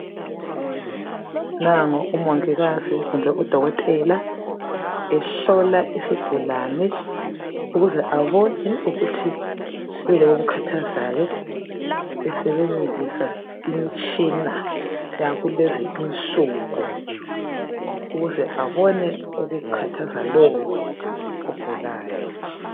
Nango umongikazi kumbe udokotela ehlola isigulane ukuze abone ukuthi kuyini okumkhathazayo esebenzisa imitshina yakulezi insuku ukuze abone okukhathaza lowo ogulayo.